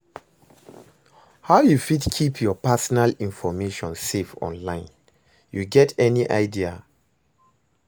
How you fit keep your personal information safe online, you get any idea?